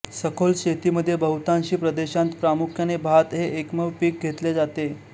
सखोल शेतीमध्ये बहुतांशी प्रदेशांत प्रामुख्याने भात हे एकमेव पीक घेतले जाते